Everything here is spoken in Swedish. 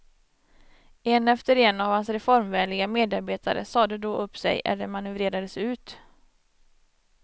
En efter en av hans reformvänliga medarbetare sade då upp sig eller manövrerades ut.